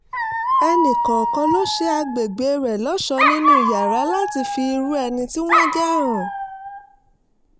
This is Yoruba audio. ẹnìkọ̀ọ̀kan ló ṣe agbègbè rẹ̀ lọ́ṣọ̀ọ́ nínú yàrá láti fi irú ẹni tí wọ́n jẹ́ hàn